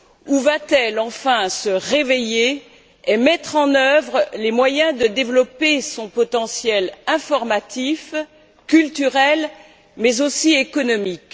ou va t elle enfin se réveiller et mettre en œuvre les moyens de développer son potentiel informatif, culturel mais aussi économique?